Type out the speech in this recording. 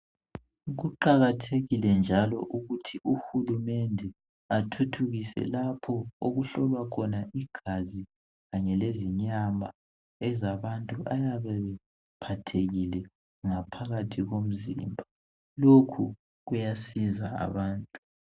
Kuqakathekile njalo ukuthi uhulumende athuthukise lapho okuhlolwa khona igazi Kanye lezinyama ezabantu abayabe bephathekile ngaphakathi komzimba lokhu kuyasiza abantu.